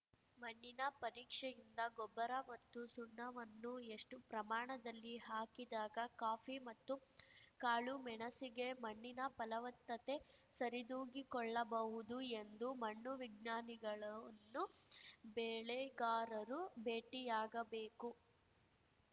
ಮಣ್ಣಿನ ಪರೀಕ್ಷೆಯಿಂದ ಗೊಬ್ಬರ ಮತ್ತು ಸುಣ್ಣವನ್ನು ಎಷ್ಟುಪ್ರಮಾಣದಲ್ಲಿ ಹಾಕಿದಾಗ ಕಾಫಿ ಮತ್ತು ಕಾಳು ಮೆಣಸಿಗೆ ಮಣ್ಣಿನ ಫಲವತ್ತತೆ ಸರಿದೂಗಿಕೊಳ್ಳಬಹುದು ಎಂದು ಮಣ್ಣು ವಿಜ್ಞಾನಿಗಳನ್ನು ಬೆಳೆಗಾರರು ಭೇಟಿಯಾಗಬೇಕು